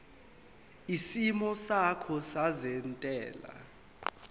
isimo sakho sezentela